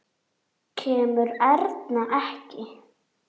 Kemur Erna ekki!